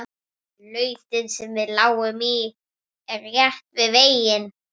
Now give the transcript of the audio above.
Lautin sem við lágum í er rétt við veginn.